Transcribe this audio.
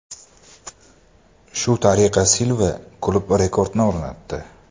Shu tariqa Silva klub rekordini o‘rnatdi .